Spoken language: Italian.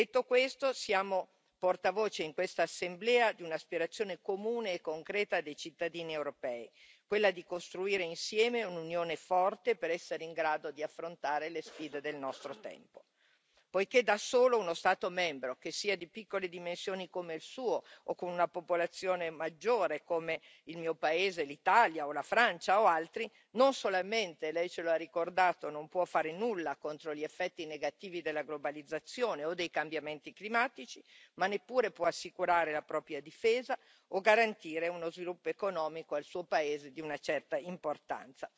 Detto questo, siamo portavoce in questa Assemblea di un'aspirazione comune e concreta dei cittadini europei, quella di costruire insieme un'Unione forte per essere in grado di affrontare le sfide del nostro tempo, poiché, da solo, uno Stato membro che sia di piccole dimensioni come il suo o con una popolazione maggiore come il mio paese, l'Italia o la Francia o altri, non solamente Lei ce lo ha ricordato, non può fare nulla contro gli effetti negativi della globalizzazione o dei cambiamenti climatici, ma neppure può assicurare la propria difesa o garantire uno sviluppo economico al suo paese di una certa importanza.